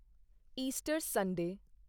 Easter Sunday